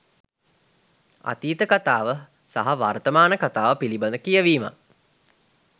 අතීත කතාව සහ වර්තමාන කතාව පිළිබඳ කියවිමක්